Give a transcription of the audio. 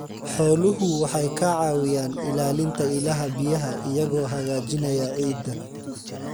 Xooluhu waxay ka caawiyaan ilaalinta ilaha biyaha iyagoo hagaajinaya ciidda.